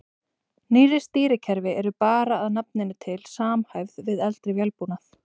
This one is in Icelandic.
Nýrri stýrikerfi eru bara að nafninu til samhæfð við eldri vélbúnað.